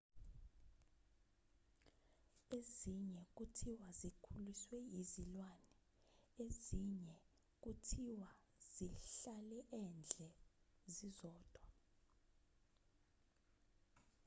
ezinye kuthiwa zikhuliswe izilwane ezinye kuthiwa zihlale endle zizodwa